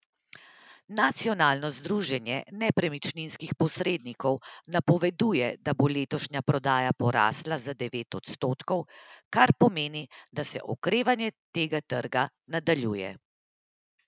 Nacionalno združenje nepremičninskih posrednikov napoveduje, da bo letošnja prodaja porasla za devet odstotkov, kar pomeni, da se okrevanje tega trga nadaljuje.